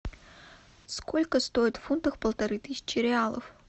сколько стоит в фунтах полторы тысячи реалов